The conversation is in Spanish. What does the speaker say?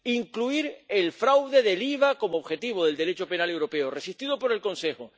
Incluir el fraude del IVA como objetivo del Derecho penal europeo, resistido por el Consejo.